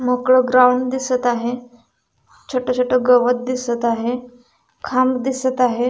मोकळ ग्राउंड दिसत आहे छोट छोट गवत दिसत आहे खांब दिसत आहे.